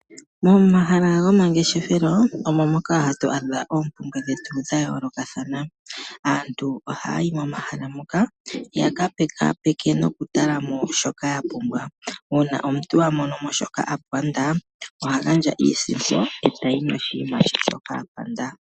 Momahala gomangeshefelo omo moka hatu adha oompumbwe dhetu dha yoolokathana. Aantu ohaya yi momahala moka yaka pekaapeke noku talamo shoka ya pumbwa. Uuna omuntu a monomo shoka a panda oha gandja iisimpo etayi noshinima she shoka a panda.